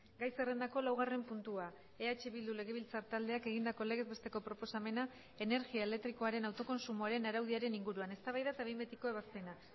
gai zerrendako laugarren puntua eh bildu legebiltzar taldeak egindako legez besteko proposamena energia elektrikoaren autokontsumoaren araudiaren inguruan eztabaida eta behin betiko ebazpena